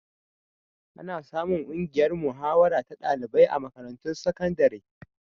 Ana samun ƙungiyar mahawara ta ɗalibai a makarantun sakandare.